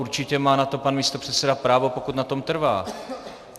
Určitě má na to pan místopředseda právo, pokud na tom trvá.